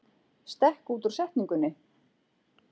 Stekk út úr setningunni